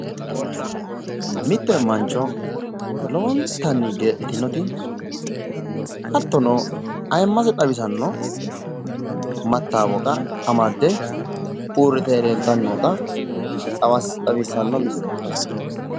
Mitte mancho lowontanni geedhitinoti hattono ayiimmase xawisanno mattaawoqa amadde uurrite leeltannota xawissanno misile ikkaseeti